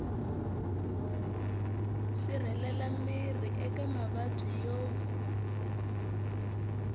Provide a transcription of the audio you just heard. sirhelela miri eka mavabyi yo